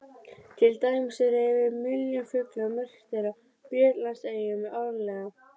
Til dæmis eru yfir milljón fuglar merktir á Bretlandseyjum árlega.